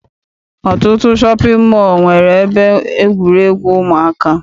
Ọtụtụ shọpị mọọ nwere ebe egwuregwu ụmụaka.